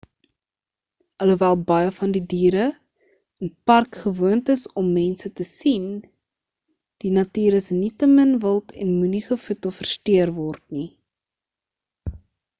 alhoewel baie van die diere in die park gewoond is om mense te sien die natuur is nietemin wild en moenie gevoed of versteur word nie